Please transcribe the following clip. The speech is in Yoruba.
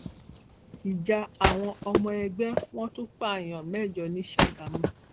ìjà àwọn ọmọ ẹgbẹ wọn tún pààyàn mẹjọ ní ṣàgámù